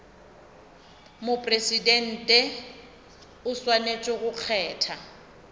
mopresidente o swanetše go kgetha